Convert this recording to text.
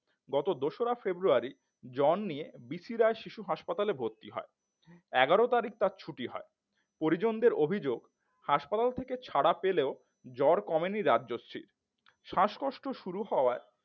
গত দোসরা ফেব্রুয়ারি জ্বর নিয়ে বি সি রায় শিশু হাসপাতালে ভর্তি হয় এগারো তারিখ তার ছুটি হয় পরিজনদের অভিযোগ হাসপাতাল থেকে ছাড়া পেলেও জ্বর কমেনি রাজশ্রীর শ্বাসকষ্ট শুরু হওয়ায়